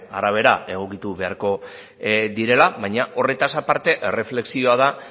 arabera egokitu beharko direla baina horretaz aparte erreflexioa da